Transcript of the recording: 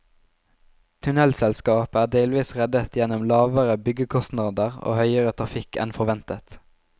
Tunnelselskapet er delvis reddet gjennom lavere byggekostnader og høyere trafikk enn forventet.